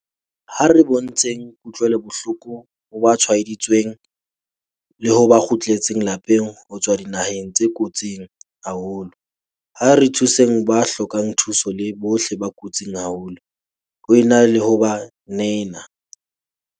Ha re bontsheng kutlwelobohloko ho ba tshwaeditsweng, le ho ba kgutletseng lapeng ho tswa dinaheng tse kotsing haholo. Ha re thuseng ba hlokang thuso le bohle ba kotsing haholo, ho e na le ho ba nena.